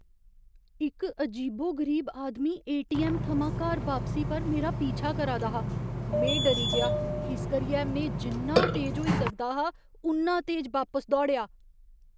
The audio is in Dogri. इक अजीबो गरीब आदमी ए.टी.ऐम्म. थमां घर बापसी पर मेरा पीछा करा दा हा। में डरी गेआ इस करियै में जिन्ना तेज होई सकदा हा उन्ना तेज बापस दौड़ेआ।